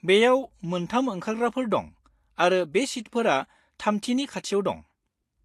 बेयाव मोनथाम ओंखारग्राफोर दं आरो बे सिटफोरा थामथिनि खाथियाव दं।